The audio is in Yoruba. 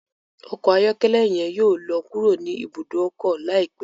Ọkọ ayọkẹlẹ yen yóò lọ kúrò ni ibùdó ọkọ laipẹ